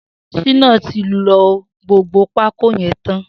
Shina ti ló gbógbó pákó yèn tán